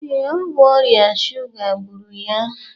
Ee, ọ bụ ọrịa shuga gburu ya